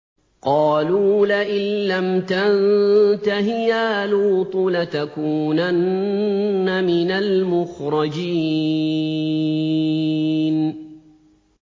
قَالُوا لَئِن لَّمْ تَنتَهِ يَا لُوطُ لَتَكُونَنَّ مِنَ الْمُخْرَجِينَ